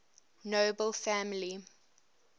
nobel family